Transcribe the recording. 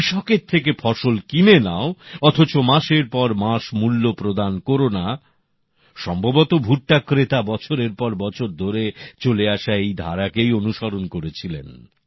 কৃষকের থেকে ফসল কিনে নাও অথচ মাসেরপরমাস টাকা দিও না সম্ভবত ভুট্টা ক্রেতা বছরের পর বছর ধরে চলে আসা এই ধারাকেই অনুসরণ করেছিলেন